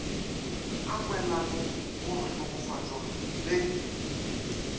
a kwelano go mohlokofatšwa le